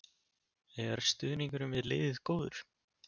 Er stuðningurinn við liðið góður?